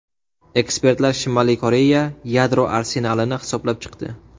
Ekspertlar Shimoliy Koreya yadro arsenalini hisoblab chiqdi.